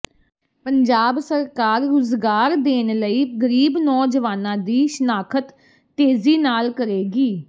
ਪੰਜਾਬ ਸਰਕਾਰ ਰੁਜ਼ਗਾਰ ਦੇਣ ਲਈ ਗ਼ਰੀਬ ਨੌਜਵਾਨਾਂ ਦੀ ਸ਼ਨਾਖਤ ਤੇਜ਼ੀ ਨਾਲ ਕਰੇਗੀ